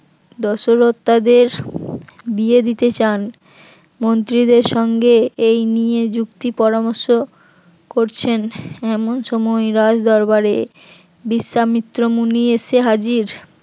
দশরথ তাদের বিয়ে দিতে চান মন্ত্রীদের সঙ্গে এই নিয়ে যুক্তি পরামর্শ করছেন এমন সময় রাজ দরবারে বিশ্বামিত্র মুনি এসে হাজির